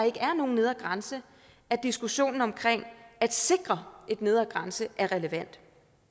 ikke er nogen nedre grænse at diskussionen om at sikre en nedre grænse er relevant